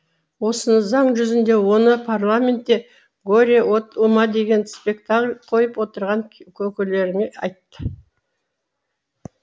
осыны заң жүзінде оны парламентте горе от ума деген спектакль қойып отырған көкелеріңе айт